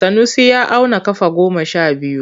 Sanusi ya auna kafa goma sha biyu.